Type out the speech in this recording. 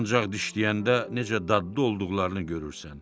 Ancaq dişləyəndə necə dadlı olduqlarını görürsən.